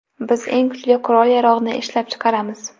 Biz eng kuchli qurol-yarog‘ni ishlab chiqaramiz.